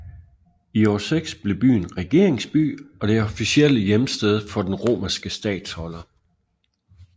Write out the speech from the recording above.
I år 6 blev byen regeringsby og det officielle hjemsted for den romerske statholder